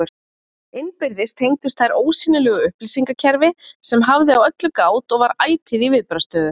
Innbyrðis tengdust þær ósýnilegu upplýsingakerfi, sem hafði á öllu gát og var ætíð í viðbragðsstöðu.